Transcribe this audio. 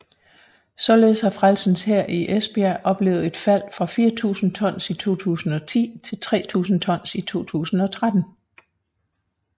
Således har Frelsens Hær i Esbjerg oplevet et fald fra 4000 tons i 2010 til 3000 tons i 2013